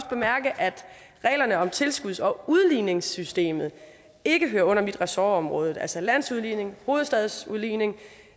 bemærke at reglerne om tilskuds og udligningssystemet ikke hører under mit ressortområde altså landsudligning hovedstadsudligning